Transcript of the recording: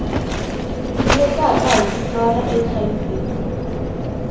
tivekaka hi vito ra hiv